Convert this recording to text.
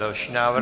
Další návrh.